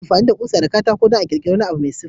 Ana amfani da ƙusa da katako dan a kirkire wani abu mai siffa.